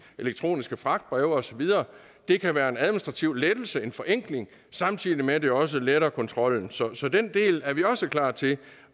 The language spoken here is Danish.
elektroniske fragtbreve og så videre det kan være en administrativ lettelse og en forenkling samtidig med at det også letter kontrollen så så den del er vi også klar til